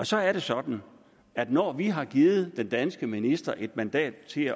så er det sådan at når vi har givet den danske minister et mandat til